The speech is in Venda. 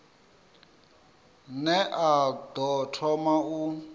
ne a ḓo thoma u